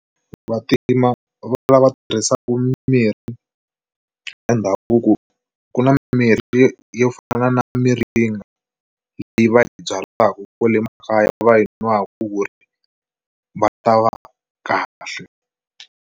Vantima vo lava tirhisaka mirhi ya ndhavuko ku na mirhi yo fana na miringa leyi va yi byalaku kwale makaya va yi nwaka ku ri va ta va kahle.